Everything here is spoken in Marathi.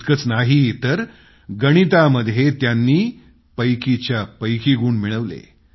इतकंच नाही तर गणितामध्ये त्यांनी पैकीच्या पैकी गुण मिळवले